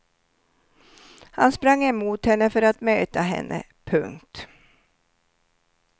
Han sprang emot henne för att möta henne. punkt